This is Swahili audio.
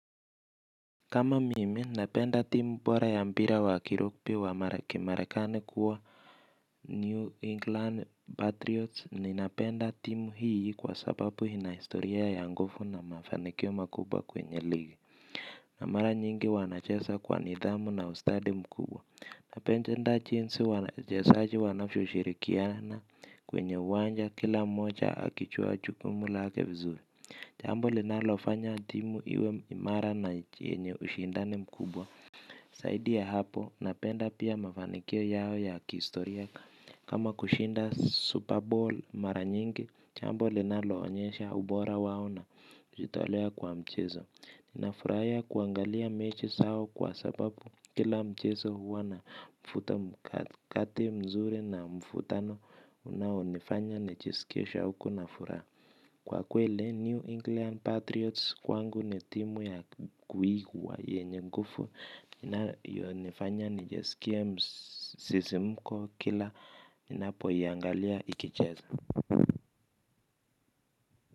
Kama mimi napenda timu bora ya mpira wa kirugbi wa mara kimarekani kuwa New England Patriots ninapenda timu hii kwa sababu ina historia ya nguvu na mafanikio makubwa kwenye ligi. Na mara nyingi wanacheza kwa nidhamu na ustadi mkubwa. Napende nda jinsi wanachesaji wanavyioshirikiana kwenye uwanja kila moja akijua jukumu lake vizuri jambo linalofanya timu iwe imara na yenye ushindani mkubwa zaidi ya hapo, napenda pia mafanikio yao ya kistoriaka. Kama kushinda Super Bowl mara nyingi, jambo linaloonyesha ubora wao na jitolea kwa mchezo ninafurahia kuangalia mechi zao kwa sababu kila mchezo huwa na mvuto mkate mzuri na mvutano unaonifanya nijiskie shauku na furaha. Kwa kweli, New England Patriots kwangu ni timu ya kuigwa yenye nguvu. Yonifanya nijisikie msisimko kila, ninapoiangalia ikicheza.